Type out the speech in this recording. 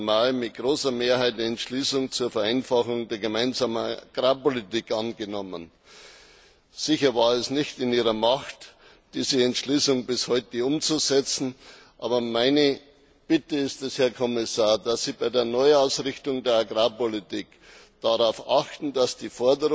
18. Mai mit großer Mehrheit eine Entschließung zur Vereinfachung der Gemeinsamen Agrarpolitik angenommen. Sicher lag es nicht in Ihrer Macht, diese Entschließung bis heute umzusetzen, aber meine Bitte ist es, Herr Kommissar, dass Sie bei der Neuausrichtung der Agrarpolitik darauf achten, dass die